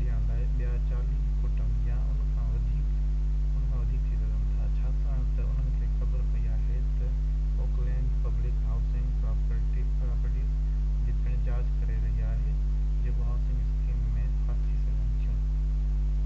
ڏيڻ لاءِ ٻيا 40 ڪٽنب يا ان کان وڌيڪ ٿي سگهن ٿا ڇاڪاڻ تہ انهن کي خبر پئي آهي تہ oha پوليس اوڪلينڊ م پبلڪ هائوسنگ پراپرٽيز جي پڻ جاچ ڪري رهئي آهي جيڪو هائوسنگ اسڪيم ۾ ڦاسي سگهن ٿيون